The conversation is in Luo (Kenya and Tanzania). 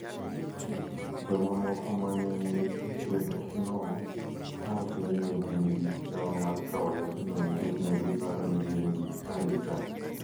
jomamoko ma ne ni e kwethno nowacho ni ne gin gi kiawa mar kawo yathno nikech ne giparo ni gin gi arita.